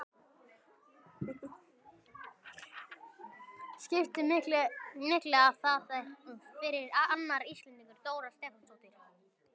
Skipti miklu að þar er fyrir annar Íslendingur, Dóra Stefánsdóttir?